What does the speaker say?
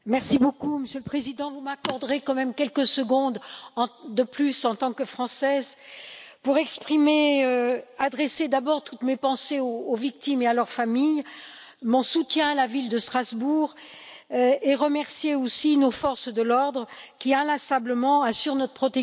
Monsieur le Président, vous m'accorderez quand même quelques secondes de plus, en tant que Française, pour adresser d'abord toutes mes pensées aux victimes et à leurs familles, mon soutien à la ville de Strasbourg et remercier aussi nos forces de l'ordre, qui, inlassablement, assurent notre protection.